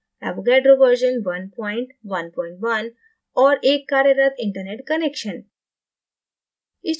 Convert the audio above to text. avogadro version 111 और एक कार्यरत internet connection